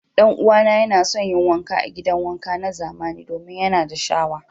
Dan'uwana yana son yin wanka a gidan wanka na zamani domin yana da shawa.